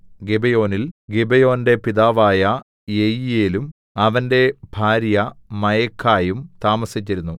ഗിബെയോനിൽ ഗിബെയോന്റെ പിതാവായ യെയീയേലും അവന്റെ ഭാര്യ മയഖായും താമസിച്ചിരുന്നു